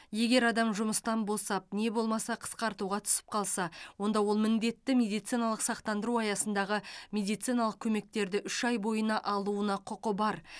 егер адам жұмыстан босап не болмаса қысқартуға түсіп қалса онда ол міндетті медициналық сақтандыру аясындағы медициналық көмектерді үш ай бойына алуына құқы бар